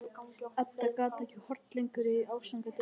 Edda gat ekki horft lengur í þessi ásakandi augu hennar.